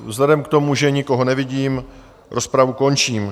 Vzhledem k tomu, že nikoho nevidím, rozpravu končím.